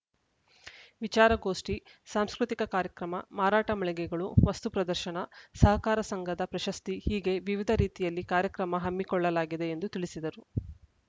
ವಿಚಾರ ಗೋಷ್ಠಿ ಸಾಂಸ್ಕೃತಿಕ ಕಾರ್ಯಕ್ರಮ ಮಾರಾಟ ಮಳಿಗೆಗಳು ವಸ್ತು ಪ್ರದರ್ಶನ ಸಹಕಾರ ಸಂಘದ ಪ್ರಶಸ್ತಿ ಹೀಗೆ ವಿವಿಧ ರೀತಿಯಲ್ಲಿ ಕಾರ್ಯಕ್ರಮ ಹಮ್ಮಿಕೊಳ್ಳಲಾಗಿದೆ ಎಂದು ತಿಳಿಸಿದರು